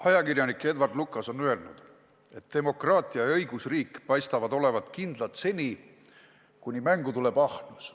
Ajakirjanik Edward Lucas on öelnud, et demokraatia ja õigusriik paistavad olevat kindlad seni, kuni mängu tuleb ahnus.